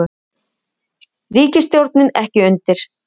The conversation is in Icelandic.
Ríkisstjórnin ekki undir